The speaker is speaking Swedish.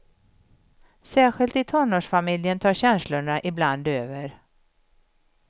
Särskilt i tonårsfamiljen tar känslorna ibland över.